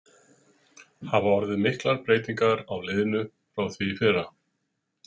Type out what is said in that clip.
Hafa orðið miklar breytingar á liðinu frá því í fyrra?